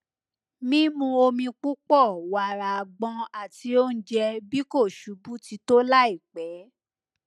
mimu omi pupọ wara agbọn ati ounjẹ bi ko ṣubu ti to laipe